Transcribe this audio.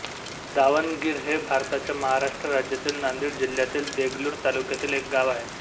दावणगिर हे भारताच्या महाराष्ट्र राज्यातील नांदेड जिल्ह्यातील देगलूर तालुक्यातील एक गाव आहे